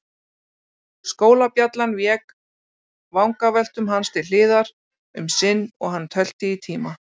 Skólabjallan vék vangaveltum hans til hliðar um sinn og hann tölti í tíma.